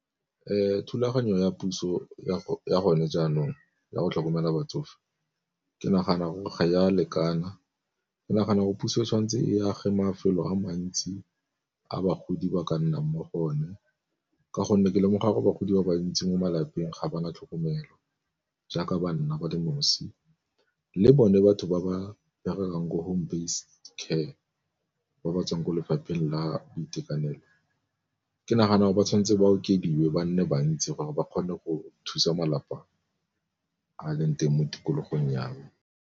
Thulaganyo ya puso ya gone jaanong ya go tlhokomela batsofe ke nagana gore ga ya lekana ke nagana gore puso tshwanetse e age mafelo a mantsi a bagodi ba ka nnang mo go one, ka gonne ke lemoga gore bagodi ba bantsi mo malapeng ga ba na tlhokomelo jaaka banna ba le nosi. Le bone batho ba ba berekang ko home base care ba ba tswang kwa lefapheng la boitekanelo, ke nagana gore ba tshwanetse ba okediwe ba nne bantsi gore ba kgone go thusa malapa a leng teng mo tikologong ya me.